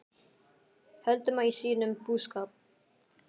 Þau sátu sannarlega ekki auðum höndum í sínum búskap.